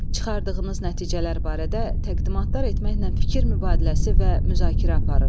Çıxardığınız nəticələr barədə təqdimatlar etməklə fikir mübadiləsi və müzakirə aparın.